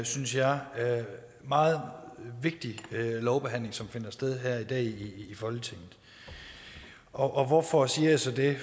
synes jeg meget vigtig lovbehandling som finder sted her i dag i folketinget og hvorfor siger jeg så det